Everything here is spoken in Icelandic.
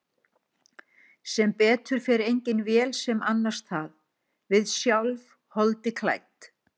Sem betur fer engin vél sem annast það, við sjálf, holdi klædd.